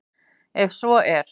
En svo er